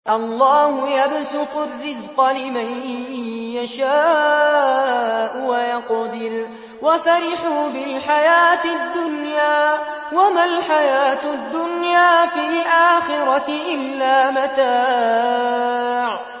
اللَّهُ يَبْسُطُ الرِّزْقَ لِمَن يَشَاءُ وَيَقْدِرُ ۚ وَفَرِحُوا بِالْحَيَاةِ الدُّنْيَا وَمَا الْحَيَاةُ الدُّنْيَا فِي الْآخِرَةِ إِلَّا مَتَاعٌ